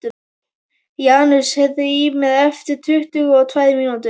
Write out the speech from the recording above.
Janus, heyrðu í mér eftir tuttugu og tvær mínútur.